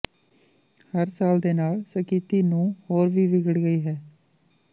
ਹਰ ਸਾਲ ਦੇ ਨਾਲ ਸਥਿਤੀ ਨੂੰ ਹੋਰ ਵੀ ਵਿਗੜ ਗਈ ਹੈ